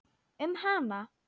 Um hana?